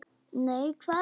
Nei, hvað er að?